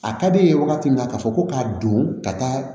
A ka d'e ye wagati min na ka fɔ ko ka don ka taa